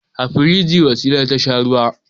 A firigi Wasila ta sha ruwa.